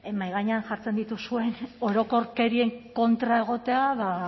mahai gainean jartzen dituzuen orokorkerien kontra egotea ba